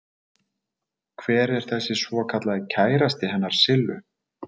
Hver er þessi svokallaði kærasti hennar Sillu?